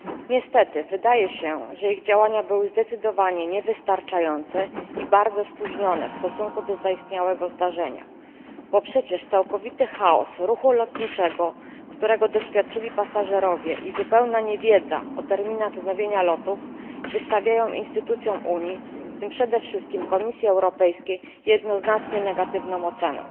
Niestety, wydaje się, że ich działania były zdecydowanie niewystarczające i bardzo spóźnione w stosunku do zaistniałego zdarzenia. Bo przecież całkowity chaos ruchu lotniczego, którego doświadczyli pasażerowie, i zupełna niewiedza o terminach wznowienia lotów wystawiają instytucjom Unii, w tym przede wszystkim Komisji Europejskiej, jednoznacznie negatywną ocenę.